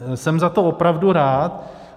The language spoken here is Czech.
Jsem za to opravdu rád.